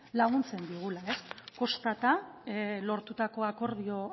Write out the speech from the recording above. laguntzen digula kostata lortutako akordio